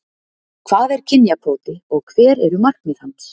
Hvað er kynjakvóti og hver eru markmið hans?